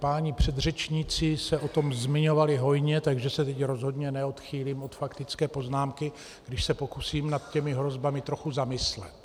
Páni předřečníci se o tom zmiňovali hojně, takže se teď rozhodně neodchýlím od faktické poznámky, když se pokusím nad těmi hrozbami trochu zamyslet.